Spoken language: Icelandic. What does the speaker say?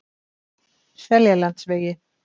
Seljalandsvegi